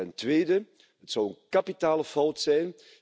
Ten tweede het zou een kapitale fout zijn.